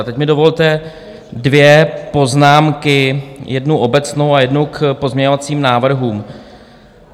A teď mi dovolte dvě poznámky, jednu obecnou a jednu k pozměňovacím návrhům.